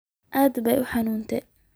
Aad baad u xun tahay